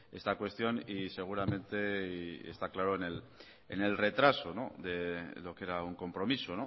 esta cuestión y seguramente está claro en el retraso de lo que era un compromiso